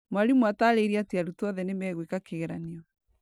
Mwarimũ ataririe atĩ arutwo othe nĩ megwĩka kĩgeranio.